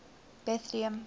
betlehem